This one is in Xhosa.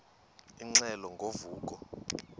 ingxelo ngo vuko